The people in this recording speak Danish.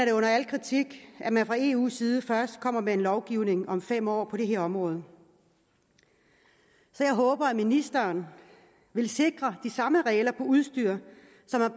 er under al kritik at man fra eus side først kommer med en lovgivning om fem år på det her område så jeg håber at ministeren vil sikre de samme regler for udstyr